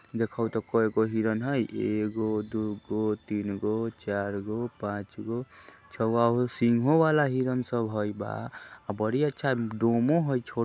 देखोह ते कएगो हिरण हय एगो दु गो तीन गो चार गो पाँचगो सिंघो वाला हिरण सब हय बा बड़ी अच्छा डोमो हय छ --